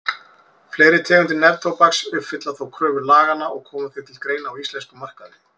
Fleiri tegundir neftóbaks uppfylla þó kröfur laganna og koma því til greina á íslenskum markaði.